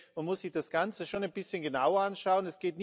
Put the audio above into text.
Man muss sich das Ganze schon ein bisschen genauer anschauen.